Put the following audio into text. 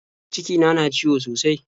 Cikina na ciwo sosai.